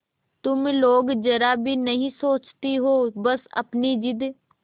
तुम लोग जरा भी नहीं सोचती हो बस अपनी जिद